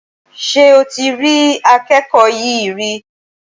Ṣé o ti ri akẹ́kọ̀ọ́ yí rí